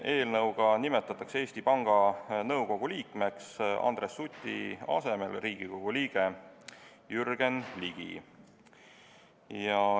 Eelnõuga nimetatakse Eesti Panga Nõukogu liikmeks Andres Suti asemel Riigikogu liige Jürgen Ligi.